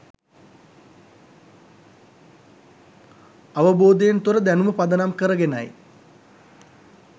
අවබෝධයෙන් තොර දැනුම පදනම් කරගෙනයි